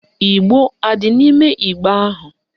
Igbo adị n'ime igbe ahụ?